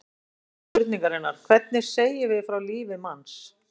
Fyrst er vert að spyrja spurningarinnar: hvernig segjum við frá lífi manns?